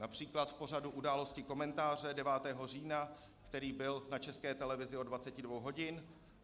Například v pořadu Události, komentáře 9. října, který byl na České televizi od 22 hodin.